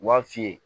U b'a f'i ye